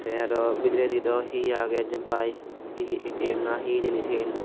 te aro bidiredo he age jempai he he A_T_M na he hijeni sian.